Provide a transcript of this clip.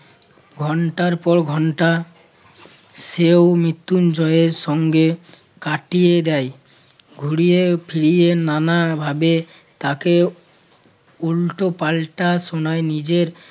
ঘণ্টার পর ঘণ্টা সেও মৃত্যুঞ্জয়ের সঙ্গে কাটিয়ে দেয়। ঘুরিয়ে ফিরিয়ে নানাভাবে তাকে উল্টোপাল্টা শোনায়। নিজের